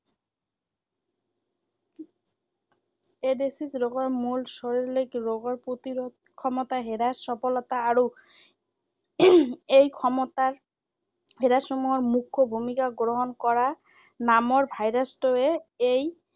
AIDS ৰোগৰ মূল শৰীৰিক ৰোগৰ প্ৰতিৰোধ ক্ষমতা হ্ৰাস সফলতা আৰু এই ক্ষমতাৰ হ্ৰাসসমূহৰ মুখ্য ভূমিকা গ্ৰহণ কৰা নামৰ virus টোৱে এই